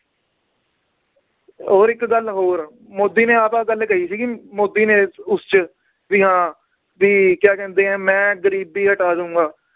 ਹੋਰ ਇੱਕ ਗੱਲ ਹੋਰ ਮੋਦੀ ਨੇ ਆਪ ਆਹ ਗੱਲ ਕਹੀ ਸੀਗੀ ਮੋਦੀ ਨੇ ਉਸ ਚ ਵੀ ਹਾਂ ਵੀ ਕਿਆ ਕਹਿੰਦੇ ਹੈ ਮੈ ਗਰੀਬੀ ਹਟਾ ਦਊਂਗਾ,